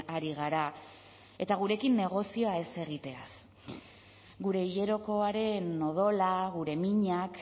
ari gara eta gurekin negozioa ez egiteaz gure hilerokoaren odola gure minak